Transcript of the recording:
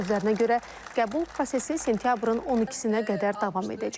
Onun sözlərinə görə qəbul prosesi sentyabrın 12-nə qədər davam edəcək.